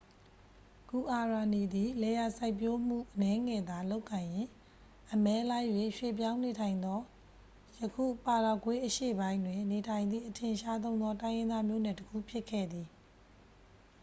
"""ဂူအာရာနီသည် လယ်ယာစိုက်ပျိုးမှု အနည်းငယ်သာ လုပ်ကိုင်ရင်း အမဲလိုက်၍ ရွှေ့ပြောင်းနေထိုင်သော ယခု ပါရာဂွေးအရှေ့ပိုင်းတွင် နေထိုင်သည့် အထင်ရှားဆုံးသော တိုင်းရင်းသားမျိုးနွယ် တစ်ခု ဖြစ်ခဲ့သည်။""